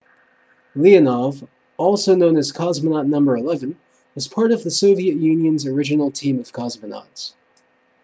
leonov also known as cosmonaut no 11 was part of the soviet union's original team of cosmonauts